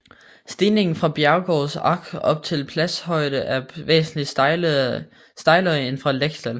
Stigningen fra Bregenzer Ach op til pashøjde er væsentligt stejlere end fra Lechtal